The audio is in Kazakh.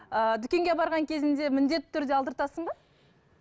ыыы дүкенге барған кезіңде міндетті түрде алдыртасың ба